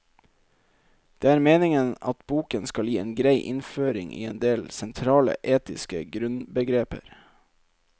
Det er meningen at boken skal gi en grei innføring i en del sentrale etiske grunnbegreper.